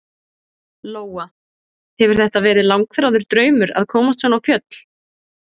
Lóa: Hefur þetta verið langþráður draumur að komast svona á fjöll?